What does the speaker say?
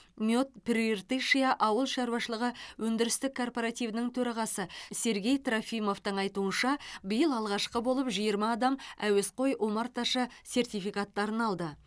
мед прииртышья ауыл шаруашылығы өндірістік корпоративінің төрағасы сергей трофимовтің айтуынша биыл алғашқы болып жиырма адам әуесқой омарташы сертификаттарын алды